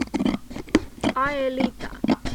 аэлита